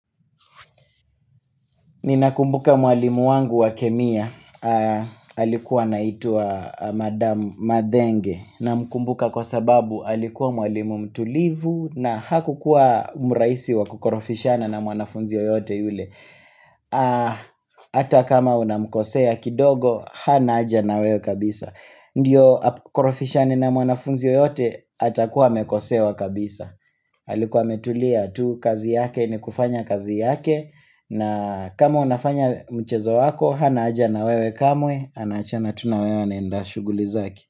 Ninakumbuka mwalimu wangu wa kemia, alikuwa anaitwa madam mathenge, namkumbuka kwa sababu alikuwa mwalimu mtulivu, na hakukuwa mrahisi wa kukorofishana na mwanafunzi yoyote yule. Ata kama unamkosea kidogo hana aja na wewe kabisa Ndiyo korofishani na mwanafunzi yoyote atakuwa amekosewa kabisa alikuwa metulia tu kazi yake ni kufanya kazi yake na kama unafanya mchezo wako hana haja na wewe kamwe anaachana tu na wewe anaenda shughuli zake.